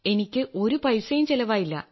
എനിക്ക് ഒരു പൈസയും ചെലവായില്ല